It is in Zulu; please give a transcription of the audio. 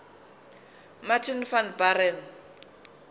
martin van buren